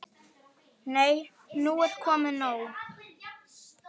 Nei, nú er nóg komið!